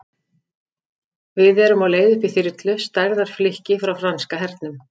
Við erum á leið upp í þyrlu, stærðar flikki frá franska hernum.